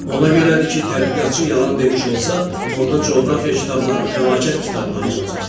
Ona görədir ki, tədqiqatçı yalan demiş olsa, onda coğrafiya kitabları fəlakət kitabları olacaq.